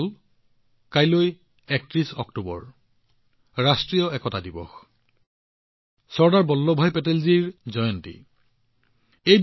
বন্ধুসকল কাইলৈ অক্টোবৰৰ ৩১ তাৰিখ ৰাষ্ট্ৰীয় একতা দিৱস চৰ্দাৰ বল্লভভাই পেটেলৰ জন্ম জয়ন্তীৰ পৱিত্ৰ উপলক্ষ